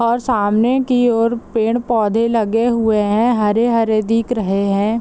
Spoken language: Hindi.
और सामने की ओर पेड़-पौधे लगे हुए है हरे-हरे दिख रहे है।